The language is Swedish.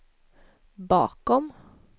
bakom